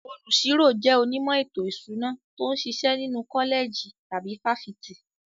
Olùṣirò jẹ́ onímọ̀ ètò ìṣúná tó ń ṣiṣẹ́ nínú kọ́lẹ̀jì tàbí fáfitì.